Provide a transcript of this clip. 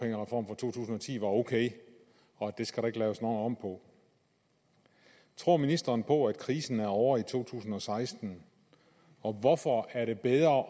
ti var ok og at den skal der ikke laves noget om på tror ministeren på at krisen er ovre i 2016 og hvorfor er det bedre